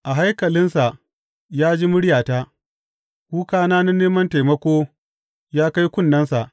A Haikalinsa ya ji muryata, Kukana na neman taimako ya kai kunnensa.